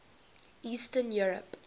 eastern europe